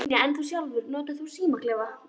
Brynja: En þú sjálfur, notar þú símaklefa?